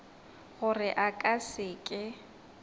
gore a ka se ke